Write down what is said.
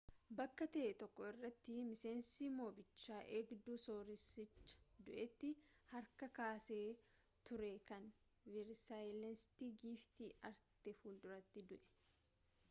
bakka ta'ee tokko irratti miseensi mobicha eegdu sooreesicha du'eeti harkaa kaase ture kan versayileesiti giftii aarte fuulduraati du'ee